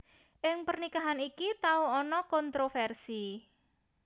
Ing pernikahan iki tau ana kontrofersi